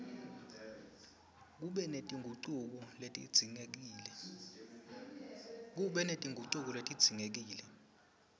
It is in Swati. kube netingucuko letidzingekile